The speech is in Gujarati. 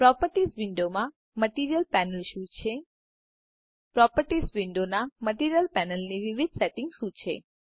પ્રોપર્ટીઝ વિન્ડોમાં મટીરિયલ પેનલ શું છે પ્રોપર્ટીઝ વિન્ડોના મટીરિયલ પેનલ ની વિવિધ સેટિંગ્સ શું છે